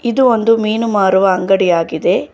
ಇದು ಒಂದು ಮೀನು ಮಾರುವ ಅಂಗಡಿಯಾಗಿದೆ.